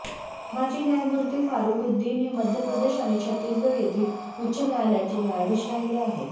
माजी न्यायमूर्ती फारुखद्दीन हे मध्य प्रदेश आणि छत्तीसगढ येथील उच्च न्यायालयाचे न्यायाधीश राहिले आहेत